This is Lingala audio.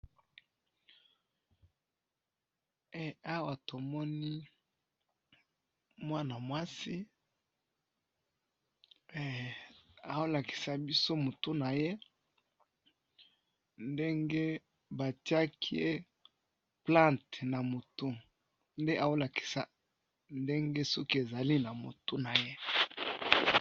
awa to moni mwana mwasi azo lakisa biso moto naye ndenge ba tiaki ye plante na moto nde azo lakisa ndenge soki ezali na moto naye